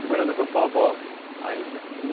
E morando com sua avó, ainda?